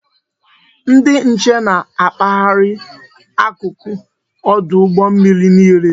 Ndị nche na-akpaharị akụkụ ọdụ ụgbọ mmiri niile